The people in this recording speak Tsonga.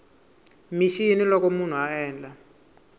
mixini loko munhu a endla